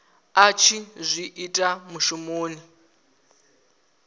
a tshi zwi ita mushumoni